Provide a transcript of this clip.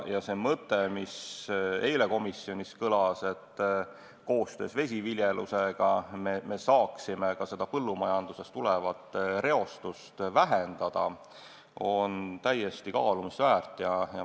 Ja see mõte, mis eile komisjonis kõlas, et koostöös vesiviljelusega me saaksime ka põllumajandusest tulevat reostust vähendada, on täiesti kaalumist väärt.